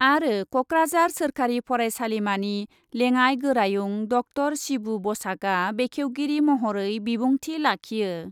आरो कक्राझार सोरखारि फरायसालिमानि लेङाइ गोरायुं डक्टर शिबु बसाकआ बेखेवगिरि महरै बिबुंथि लाखियो।